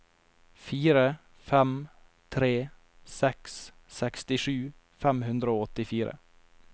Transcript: fire fem tre seks sekstisju fem hundre og åttifire